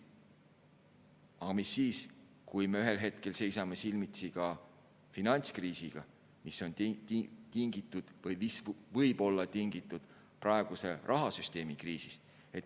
Aga mis siis, kui me ühel hetkel seisame silmitsi ka finantskriisiga, mis on tingitud või mis võib olla tingitud praeguse rahasüsteemi kriisist?